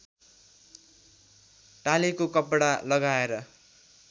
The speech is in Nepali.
टालेको कपडा लगाएर